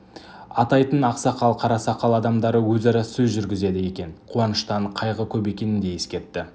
атайтын ақсақал қарасақал адамдары өзара сөз жүргізеді екен қуаныштан қайғы көп екенін де ескертті